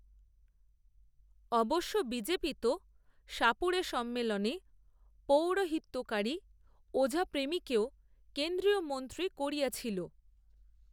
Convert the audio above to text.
অবশ্য বিজেপি তো, সাপুড়েসম্মেলনে, পৌরোহিত্যকারী, ওঝাপ্রেমীকেও কেন্দ্রীয় মন্ত্রী করিয়াছিল